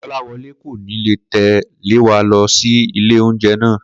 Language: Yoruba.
Kò̩láwo̩lé kò ní lè tè̩ lé wa lo sí ilé oúnje̩ náà